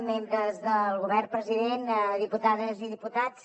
membres del govern president diputades i diputats